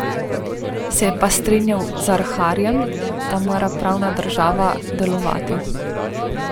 Se je pa strinjal z Arharjem, da mora pravna država delovati.